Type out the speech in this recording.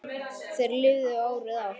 Þeir lifðu fárið af